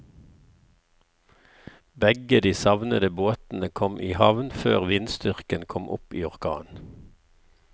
Begge de savnede båtene kom i havn før vindstyrken kom opp i orkan.